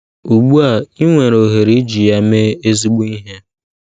Ugbu a, i nwere ohere iji ya mee ezigbo ihe.